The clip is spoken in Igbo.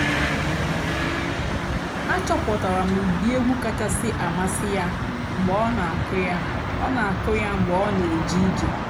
àchọ́pụ́tárá m ụ́dị́ ègwú kàchàsị́ àmásị́ yá mg̀bé ọ́ nà-àkụ́ yá ọ́ nà-àkụ́ yá mg̀bé ọ́ nà-èjé íje.